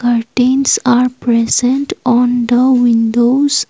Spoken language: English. curtains are present on the windows.